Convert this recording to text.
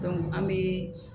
an bɛ